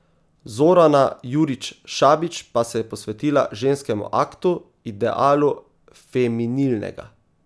Zorana Jurić Šabić pa se je posvetila ženskemu aktu, idealu feminilnega.